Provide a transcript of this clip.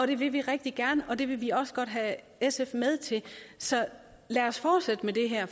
det vil vi rigtig gerne og det vil vi også godt have sf med til så lad os fortsætte med det her